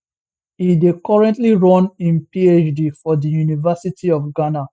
e dey currently run im phd for di university of ghana